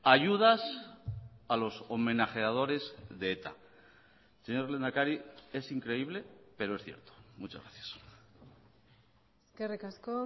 ayudas a los homenajeadores de eta señor lehendakari es increíble pero es cierto muchas gracias eskerrik asko